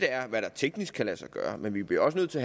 er hvad der teknisk kan lade sig gøre men vi bliver også nødt til